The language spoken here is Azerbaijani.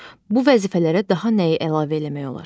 Bu vəzifələrə daha nəyi əlavə eləmək olar?